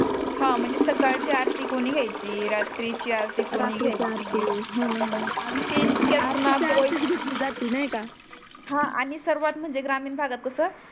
हा म्हणजे सकळची आरती कोणी घ्यायची रात्रीची आरती कोणी रात्रीची आरती कोणी घ्यायची हो णा हो णा आणि ते जितक्या कुणाला आरतीची ची आरतीच घेतली जाते नाही का हा आणि सर्वात म्हणजे ग्रामीण भागात कस